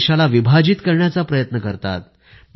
देशाला विभाजित करण्याचा प्रयत्न करत आहेत